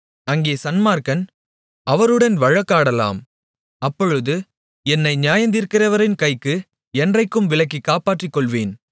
அங்கே சன்மார்க்கன் அவருடன் வழக்காடலாம் அப்பொழுது என்னை நியாயந்தீர்க்கிறவரின் கைக்கு என்றைக்கும் விலக்கிக் காப்பாற்றிக்கொள்வேன்